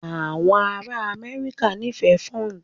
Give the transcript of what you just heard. Àwọn ará Amẹ́ríkà nífẹ̀ẹ́ Ford